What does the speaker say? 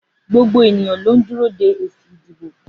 Gbogbo ènìyàn ló ń dúró de èsì ìdìbò.